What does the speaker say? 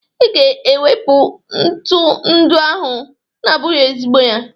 I ga-ewepu ntu ndị ahụ na-abụghị ezigbo ya!